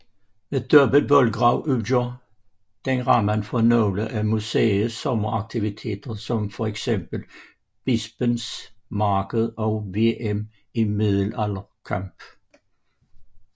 Med dobbelt voldgrav udgør den rammen for nogle af museets sommeraktiviteter som fx Bispens Marked og VM i middelalderkamp